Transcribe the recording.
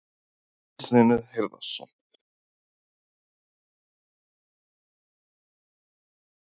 Magnús Hlynur Hreiðarsson: Og ekkert vont að vera með stóra bróður í skólanum?